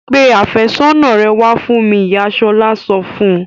Pe àfẹ́sọ́nà rẹ wá fún mi! Ìyá Ṣọlá sọ fún un.